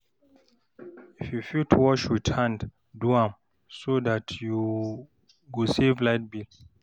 if yu fit wash wit hand, do am so dat yu go save light bill